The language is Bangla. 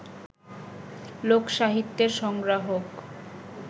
লোক-সাহিত্যের সংগ্রাহক